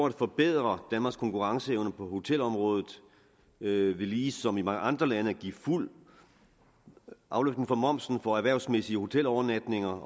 at forbedre danmarks konkurrenceevne på hotelområdet ved ligesom i mange andre lande at give fuld afløftning for momsen for erhvervsmæssige hotelovernatninger